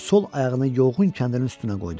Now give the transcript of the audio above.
O sol ayağını yolğun kəndirin üstünə qoydu.